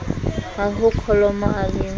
a ho kholomo a le